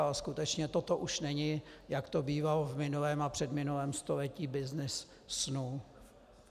Ale skutečně toto už není, jak to bývalo v minulém a předminulém století, byznys snů.